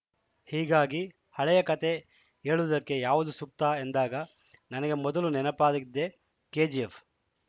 ಹೀಗಾಗಿ ಹಳೆಯ ಕತೆ ಹೇಳುವುದಕ್ಕೆ ಯಾವುದು ಸೂಕ್ತ ಎಂದಾಗ ನನಗೆ ಮೊದಲು ನೆನಪಾಗಿದ್ದೇ ಕೆಜಿಎಫ್‌